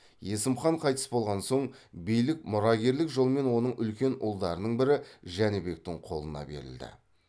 есім хан қайтыс болған соң билік мұрагерлік жолмен оның үлкен ұлдарының бірі жәнібектің қолына берілді